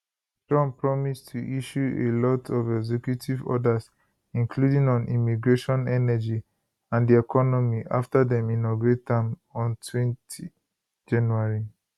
trump promise to issue a lot of executive orders including on immigration energy and di economy after dem inaugurate am ontwentyjanuary